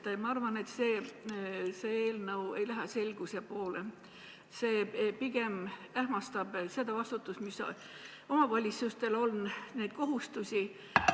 Ma arvan, et see eelnõu ei lähe selguse poole, vaid pigem ähmastab seda vastutust, mis on omavalitsustel, ähmastab neid kohustusi.